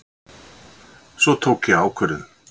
Svo tók ég ákvörðun.